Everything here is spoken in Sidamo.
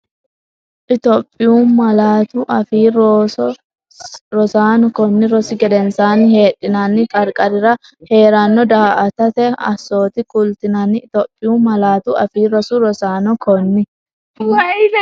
Itophiyu Malaatu Afii Roso Rosaano konni rosi gedensaanni Heedhinanni qarqarira hee’ranno daa”atate assoote kultinanni Itophiyu Malaatu Afii Roso Rosaano konni.